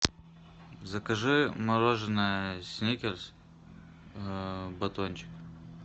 закажи мороженое сникерс батончик